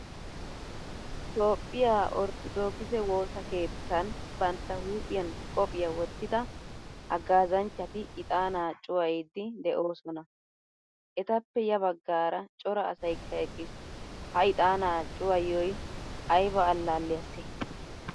Toophphiyaa orttodokise woosa keettan bantta huuphphiyan qophphiyaa wottida haggazanchchati iixaana cuwayiddi deosona. Etappe ya baggaara cora asaykka eqqiis. Ha ixxaana cuwaiyo ayba allaliyase?